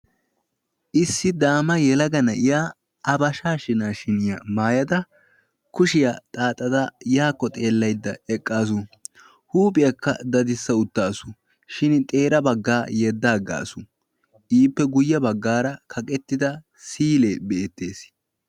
issi daama yelaga na'iya a bashaa shinaashiniyaa maayada kushiyaa xaaxada yaakko xeellaydda eqqaasu huuphiyaakka dadissa uttaasu shin xeera baggaa yeddaaggaasu iippe guyye baggaara kaqettida siyilee be'ettees